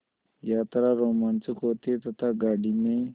यात्रा रोमांचक होती है तथा गाड़ी में